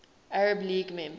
arab league member